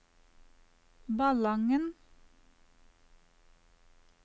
Ballangen